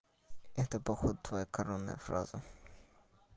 это походу твоя коронная фраза